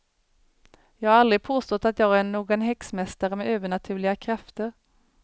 Jag har aldrig påstått att jag är någon häxmästare med övernaturliga krafter.